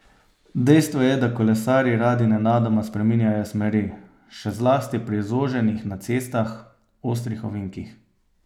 Dejstvo je, da kolesarji radi nenadoma spreminjajo smeri, še zlasti pri zoženjih na cestah, ostrih ovinkih.